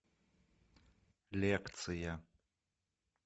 лекция